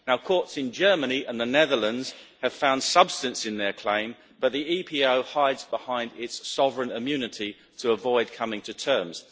Courts in Germany and the Netherlands have found substance in their claim, but the EPO hides behind its sovereign immunity to avoid coming to terms.